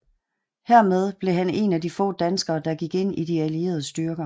Hermed blev han en af de få danskere der gik ind i de allierede styrker